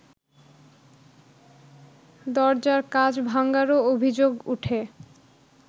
দরজার কাচ ভাঙ্গারও অভিযোগ ওঠে